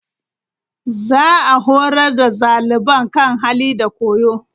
Za a horar da xaliban kan hali da koyo.